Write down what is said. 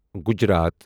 Gujarat